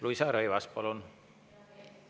Luisa Rõivas, palun!